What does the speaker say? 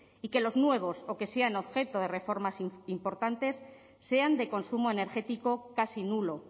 y que los nuevos o que sean objeto de reformas importantes sean de consumo energético casi nulo